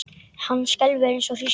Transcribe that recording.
Hann skelfur eins og hrísla.